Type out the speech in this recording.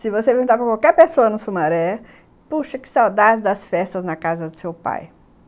Se você perguntar para qualquer pessoa no Sumaré, puxa, que saudade das festas na casa do seu pai.